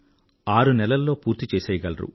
ఆరు నెలల్లో పూర్తి చేసెయ్యగలరు